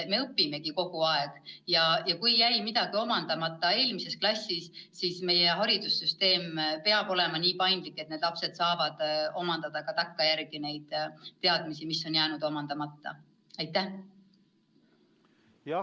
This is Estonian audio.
Me õpimegi kogu aeg ja kui jäi midagi eelmises klassis omandamata, siis meie haridussüsteem peab olema nii paindlik, et need lapsed saavad neid teadmisi, mis on jäänud omandamata, omandada ka takkajärele.